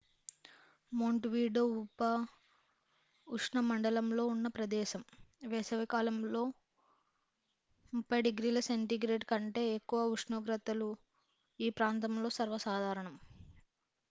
montevideo ఉపఉష్ణమండలంలో ఉన్న ప్రదేశం; వేసవి కాలంలో +30°c కంటే ఎక్కువ ఉష్ణోగ్రతలు ఈ ప్రాంతంలో సర్వసాధారణం